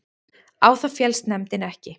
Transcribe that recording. Á það féllst nefndin ekki